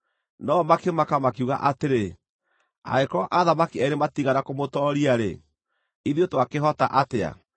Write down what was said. No-o makĩmaka makiuga atĩrĩ, “Angĩkorwo athamaki eerĩ matiigana kũmũtooria-rĩ, ithuĩ twakĩhota atĩa?”